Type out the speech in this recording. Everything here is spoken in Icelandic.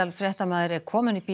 fréttamaður er komin upp í